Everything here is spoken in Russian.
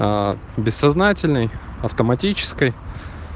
ка бессознательной автоматической